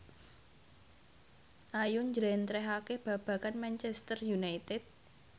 Ayu njlentrehake babagan Manchester united